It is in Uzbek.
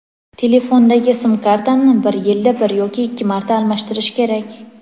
Telefondagi sim-kartani bir yilda bir yoki ikki marta almashtirish kerak.